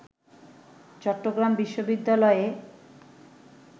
চট্টগ্রাম বিশ্ববিদ্যালয়ে